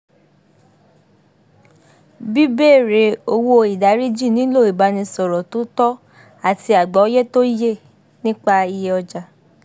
bíbéèrè owó ìdáríjì nílò ìbánìsọ̀rọ̀ tó tọ́ àti àgbọ́yé tó yé nípa iye ọjà